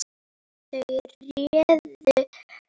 Þau réðu.